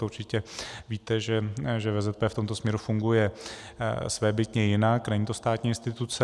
To určitě víte, že VZP v tomto směru funguje svébytně jinak, není to státní instituce.